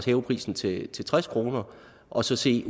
hæve prisen til til tres kroner og så se